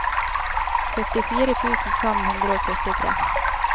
førtifire tusen fem hundre og førtitre